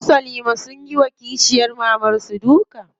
Su salima sunyi wa kishiyar mamar su duka.